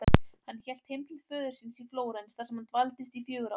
Hann hélt heim til föður síns í Flórens þar sem hann dvaldist í fjögur ár.